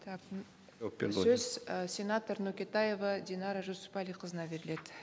так м сөз і сенатор нүкетаева динара жүсіпәліқызына беріледі